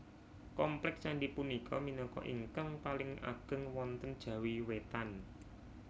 Komplèk candhi punika minangka ingkang paling ageng wonten Jawi Wétan